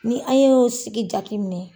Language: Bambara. Ni an ye sigi jaki minɛ